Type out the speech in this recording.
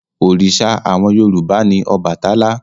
Òrìṣà àwọn Yorùbá ni Ọbàtálá.